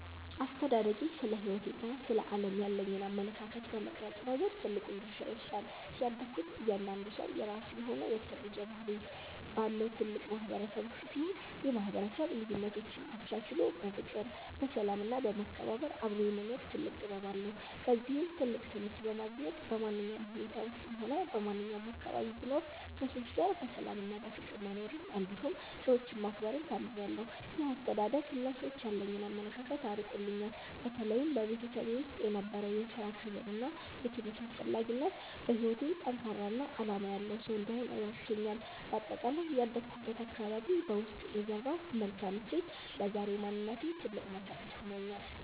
አስተዳደጌ ስለ ሕይወትና ስለ ዓለም ያለኝን አመለካከት በመቅረጽ ረገድ ትልቁን ድርሻ ይወስዳል። ያደግኩት እያንዳንዱ ሰው የራሱ የሆነ የተለየ ባህሪ ባለው ትልቅ ማህበረሰብ ውስጥ ሲሆን፣ ይህ ማህበረሰብ ልዩነቶችን አቻችሎ በፍቅር፣ በሰላም እና በመከባበር አብሮ የመኖር ትልቅ ጥበብ አለው። ከዚህም ትልቅ ትምህርት በማግኘት፣ በማንኛውም ሁኔታ ውስጥም ሆነ በማንኛውም አካባቢ ብኖር ከሰዎች ጋር በሰላምና በፍቅር መኖርን እንዲሁም ሰዎችን ማክበርን ተምሬያለሁ። ይህ አስተዳደግ ለሰዎች ያለኝን አመለካከት አርቆልኛል። በተለይም በቤተሰቤ ውስጥ የነበረው የሥራ ክብርና የትምህርት አስፈላጊነት፣ በሕይወቴ ጠንካራና ዓላማ ያለው ሰው እንድሆን ረድቶኛል። በአጠቃላይ ያደግኩበት አካባቢ በውስጤ የዘራው መልካም እሴት ለዛሬው ማንነቴ ትልቅ መሰረት ሆኖኛል።